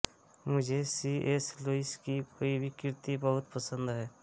मुझे C S Lewis की कोई भी कृति बहुत पसंद है